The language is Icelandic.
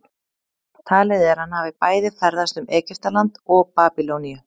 talið er að hann hafi bæði ferðast um egyptaland og babýloníu